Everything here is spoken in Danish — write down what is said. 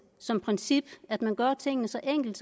som princip at man gør tingene så enkle